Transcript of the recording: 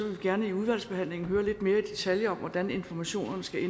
vi gerne i udvalgsbehandlingen høre lidt mere i detaljer om hvordan informationerne skal